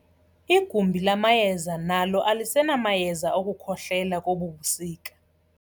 Igumbi lamayeza nalo alisenamayeza okukhohlela kobu busika.